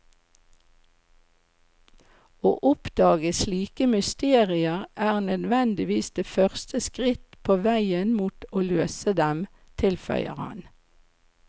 Å oppdage slike mysterier er nødvendigvis det første skritt på veien mot å løse dem, tilføyer han.